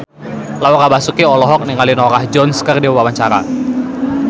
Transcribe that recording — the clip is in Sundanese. Laura Basuki olohok ningali Norah Jones keur diwawancara